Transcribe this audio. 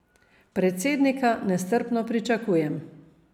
Predsednika nestrpno pričakujem.